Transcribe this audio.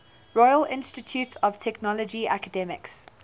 royal institute of technology academics